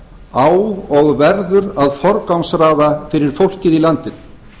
á og verður að forgangsraða fyrir fólkið í landinu